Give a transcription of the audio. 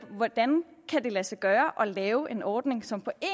hvordan kan det lade sig gøre at lave en ordning som på